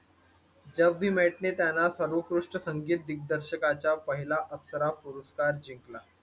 jab we met ने त्यांना सर्वोत्कृष्ट संगीत दिग्दर्शकाचा पहिलं अप्सरा पुरस्कार जिंकला